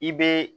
I bɛ